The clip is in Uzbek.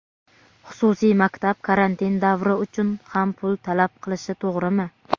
Xususiy maktab karantin davri uchun ham pul talab qilishi to‘g‘rimi?.